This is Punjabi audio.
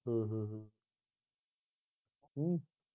ਹੂ